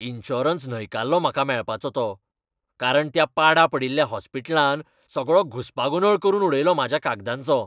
Insurance न्हयकारलो म्हाका मेळपाचो तो, कारण त्या पाडा पडिल्ल्या हॉस्पिटलान सगळो घुस्पागोंदळ करून उडयलो म्हाज्या कागदांचो.